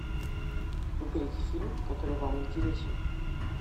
выберите фильм который вам интересен